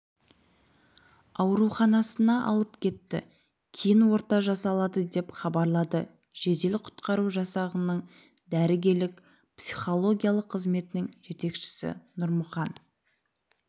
ауруханасына алып кетті кейін ота жасалады деп хабарлады жедел құтқару жасағының дәрігерлік-психологиялық қызметінің жетекшісі нұрмұхан